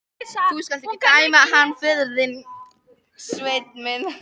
Þú skalt ekki dæma hann föður þinn, Sveinn minn.